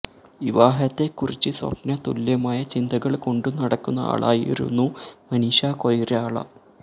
വിവാഹത്തെക്കുറിച്ച് സ്വപ്ന തുല്യമായ ചിന്തകള് കൊണ്ടു നടക്കുന്ന ആളായിരുന്നു മനീഷ കൊയ്രാള